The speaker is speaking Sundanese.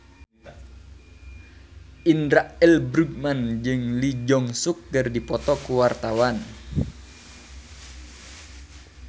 Indra L. Bruggman jeung Lee Jeong Suk keur dipoto ku wartawan